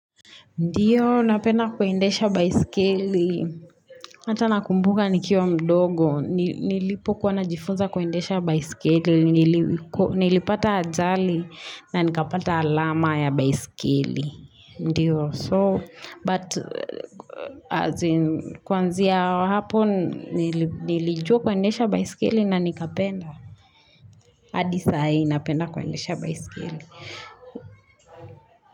Ndiyo, napenda kuendesha baiskeli. Hata nakumbuka nikiwa mdogo. Nilipo kuwana jifunza kwaendesha baisikili. Nilipata ajali na nikapata alama ya baisikeli. Ndiyo, so, but, as in, kwanzia hapo, nilijua kwendesha baisikeli na nikapenda. Adisa hai, napenda kwendesha baisikili.